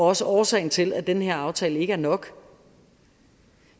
også årsagen til at den her aftale ikke er nok